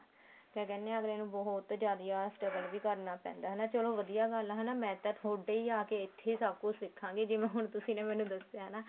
ਕਿਆ ਕਹਿਨੇ ਹਾਂ ਅੱਗਲੇ ਨੂੰ ਬਹੁਤ ਜਿਆਦਾ struggle ਵੀ ਕਰਨਾ ਪੈਂਦਾ ਹਨਾ ਚਲੋ ਵਧੀਆ ਗੱਲ ਆ ਹਨਾ ਮੈਂ ਤਾਂ ਤੁਹਾਡੇ ਹੀ ਆ ਕੇ ਸਭ ਕੁੱਝ ਸਿਖਾ ਗਈ ਜਿਵੇਂ ਹੁਣ ਤੁਸੀਂ ਨੇ ਮੈਨੂੰ ਦੱਸਿਆ ਨਾ